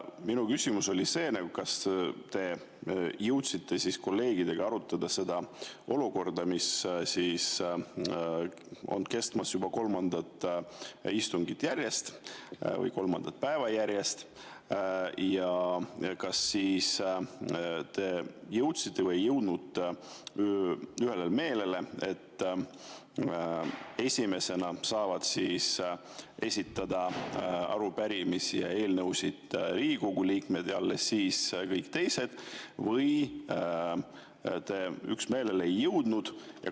Minu küsimus oli: kas te jõudsite kolleegidega arutada seda olukorda, mis on kestnud juba kolmandat istungit järjest või kolmandat päeva järjest, ja kas te jõudsite ühele meelele, et esimesena saavad esitada arupärimisi ja eelnõusid Riigikogu liikmed ja alles siis kõik teised, või te ei jõudnud üksmeelele?